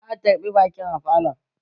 Za a tarbi baƙin a falon